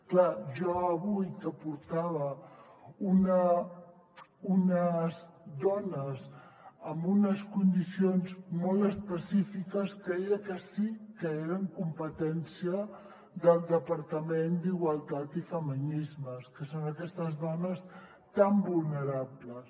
clar jo avui que portava unes dones amb unes condicions molt específiques creia que sí que eren competència del departament d’igualtat i feminismes que són aquestes dones tan vulnerables